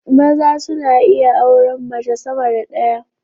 Maza suna iya auran mace sama da ɗaya